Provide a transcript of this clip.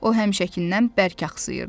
O həmişəkindən bərk axsıyırdı.